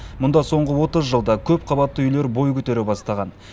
мұнда соңғы отыз жылда көпқабатты үйлер бой көтере бастаған